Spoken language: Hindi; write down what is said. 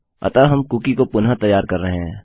अतः हम कुकी को पुनः तैयार कर रहे हैं